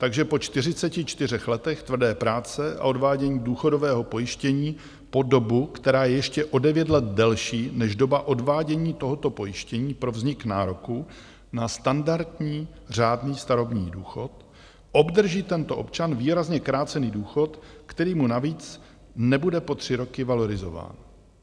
Takže po 44 letech tvrdé práce a odvádění důchodového pojištění po dobu, která je ještě o 9 let delší než doba odvádění tohoto pojištění pro vznik nároku na standardní řádný starobní důchod, obdrží tento občan výrazně krácený důchod, který mu navíc nebude po tři roky valorizován.